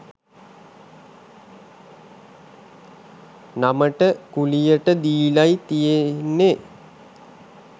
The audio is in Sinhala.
නමට කුලියට දීලයි තියෙන්නේ.